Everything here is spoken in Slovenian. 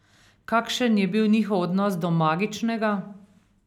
Kakšen je bil njihov odnos do magičnega?